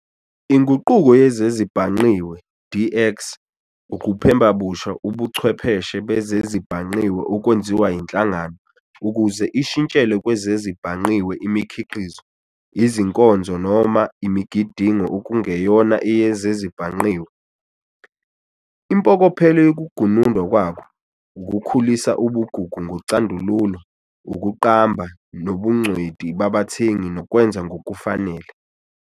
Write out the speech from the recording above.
Inguquko yezezibhangqiwe, DX, ukuphembabusha ubuchwepheshe bezezibhangqiwe okwenziwa yinhlangano ukuze ishintshele kwezezibhangqiwe imikhiqizo, izinkonzo noma imigidingo okungeyona eyezezibhangqiwe. Impokophelo yokugunundwa kwako, ukukhulisa ubugugu ngocandululo, ukuqamba, nobungcweti babathengi nokwenza ngokufanele.